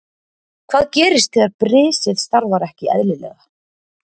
Hvað gerist þegar brisið starfar ekki eðlilega?